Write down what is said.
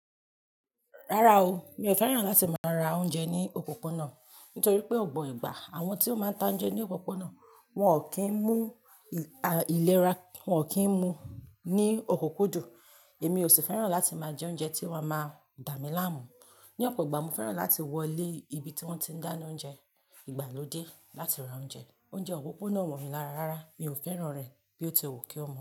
Rárá o, mi ò fẹ́ràn láti máa ra oúnjẹ ní òpópónà, nítorí pé ọ̀pọ̀ ìgbà àwọn tí ó máa ń ta oúnjẹ ní òpópónà wọn ò kí ń mú ìlera, wọ́n ò kí ń mu ní ọkọ́kódó. Èmi ò sì fẹ́ràn láti máa jẹ oúnjẹ tío ma máa dà mí láàmú. Ní ọ̀pọ̀ ìgbà mo fẹ́ràn láti wọ ilé ibi tí wọ́n ti ń dáná oúnjẹ ìgbàlódé láti ra oúnjẹ. Oúnjẹ òpópónà o mo mí lára rárá mi ò fẹ́ràn rẹ̀ bí ó ti wù kí ó mọ.